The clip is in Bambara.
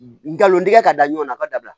Ngalon tigɛ ka da ɲɔgɔn na a ka dabila